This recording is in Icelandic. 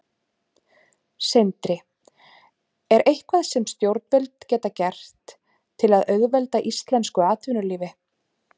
Sindri: Er eitthvað sem stjórnvöld geta gert til að auðvelda íslensku atvinnulífi?